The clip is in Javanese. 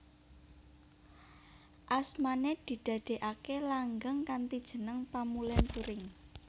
Asmané didadèaké langgeng kanthi jeneng Pamulèn Turing